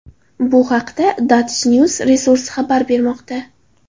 Bu haqda DutchNews resursi xabar bermoqda .